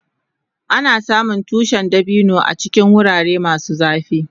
Ana samun tushin dabino a cikin wurare masu zafi.